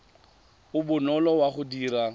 o bonolo wa go dira